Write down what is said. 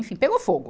Enfim, pegou fogo.